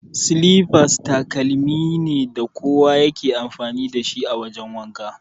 Silifas takalmi ne da kowa ya ke amfani dashi a wajan wanka.